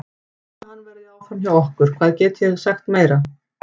Ég er handviss um að hann verði áfram hjá okkur, hvað get ég sagt meira?